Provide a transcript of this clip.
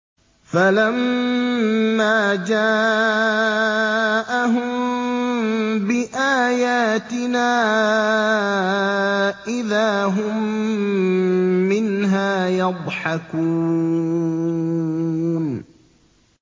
فَلَمَّا جَاءَهُم بِآيَاتِنَا إِذَا هُم مِّنْهَا يَضْحَكُونَ